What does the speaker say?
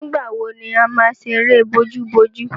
Nígbà wo ni a má ṣeré bojúbojú?